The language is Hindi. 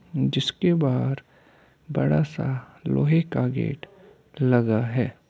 जिसके बाहर बड़ा सा लोहे का गेट लगा है।